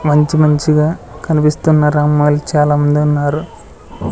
మంచి మంచి గా కనిపిస్తున్నారు అమ్మాయిలు చాలా మంది ఉన్నారు.